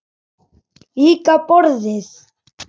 Líka borðið.